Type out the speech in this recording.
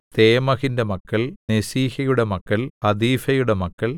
തേമഹിന്റെ മക്കൾ നെസീഹയുടെ മക്കൾ ഹതീഫയുടെ മക്കൾ